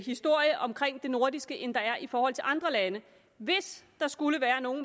historie omkring det nordiske end der er i forhold til andre lande hvis der skulle være nogen